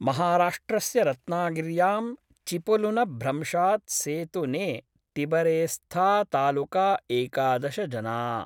महाराष्ट्रस्य रत्नागिर्यां चिपलुनभ्रंशाद् सेतु ने तिबरेस्थातालुका एकादश जना।